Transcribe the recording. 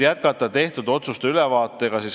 Jätkame tehtud otsuste ülevaatega.